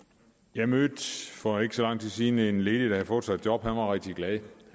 jeg mødte for ikke så lang tid siden en ledig der havde fået sig et job han var rigtig glad